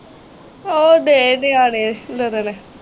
ਓ ਦੇਖਦੇ ਆ ਹਾਲੇ ਗਗਨ।